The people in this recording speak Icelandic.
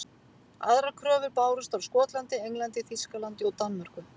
Aðrar kröfur bárust frá Skotlandi, Englandi, Þýskalandi og Danmörku.